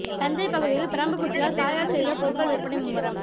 தஞ்சை பகுதியில் பிரம்பு குச்சியால் தயார் செய்த பொருட்கள் விற்பனை மும்முரம்